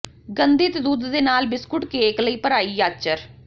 ਗੰਧਿਤ ਦੁੱਧ ਦੇ ਨਾਲ ਬਿਸਕੁਟ ਕੇਕ ਲਈ ਭਰਾਈ ਯਾੱਚਰ